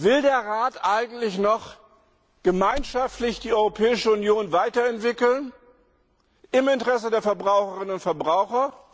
Will der Rat eigentlich noch gemeinschaftlich die Europäische Union weiterentwickeln, im Interesse der Verbraucherinnen und Verbraucher?